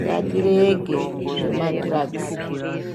Ngatirege zvemadhiragisi.